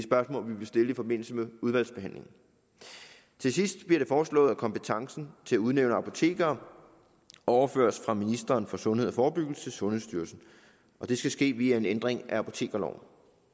vil stille i forbindelse med udvalgsbehandlingen til sidst bliver det foreslået at kompetencen til at udnævne apotekere overføres fra ministeren for sundhed og forebyggelse til sundhedsstyrelsen og det skal ske via en ændring af apotekerloven